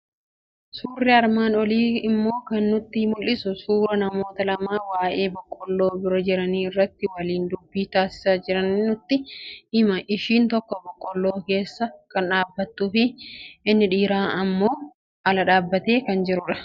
Suurri armaan olii immoo kan nutti mul'isu, suuraa namoota lamaa waa'ee boqqolloo bira jiranii irratti waliin dubbii taasisaa jiranii nutti hima. Ishiin tokko boqqolloo keessa kan dhaabbattuu fi inni dhiirri immoo ala dhaabbatee jira.